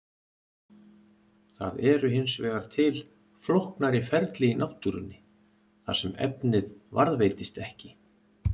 Það eru hins vegar til flóknari ferli í náttúrunni þar sem efnið varðveitist ekki.